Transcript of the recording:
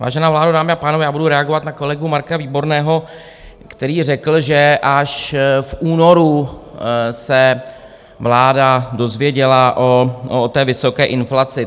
Vážená vládo, dámy a pánové, já budu reagovat na kolegu Marka Výborného, který řekl, že až v únoru se vláda dozvěděla o té vysoké inflaci.